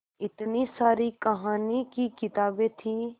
इतनी सारी कहानी की किताबें थीं